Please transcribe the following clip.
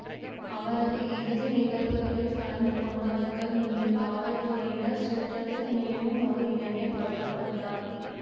அவரது இறுதி நிகழ்வுகளில் கலந்து கொண்டவர்கள் மீது காவல்துறையினர் சுட்டதில் மேலும் ஒரு இளைஞர் கொல்ல பட்டார்